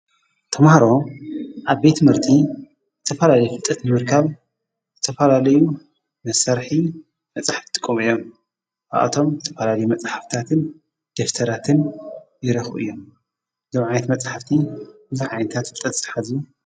ተምህሮ ኣብ ቤት ምህርቲ ተፈላለይ ፍጠት ንምርካብ ተፈላለዩ ምሠርኂ መጻሕፍቲቲ ቆምዮም ኣኣቶም ተፈላልዩ መጻሕፍታትን ድፍተራትን ይረኽ እዮም ዘምዓይት መጻሕፍቲ ብዙዓዓይንታት ኣፍጠት ዝሓዙ እዮም ።